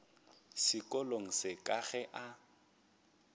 sekolong se ka ge a